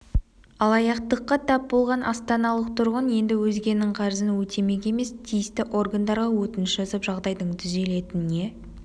алаяқтыққа тап болған астаналық тұрғын енді өзгенің қарызын өтемек емес тиісті органдарға өтініш жазып жағдайдың түзелетініне